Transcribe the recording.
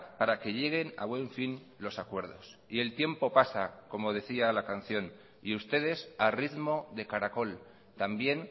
para que lleguen a buen fin los acuerdos y el tiempo pasa como decía la canción y ustedes a ritmo de caracol también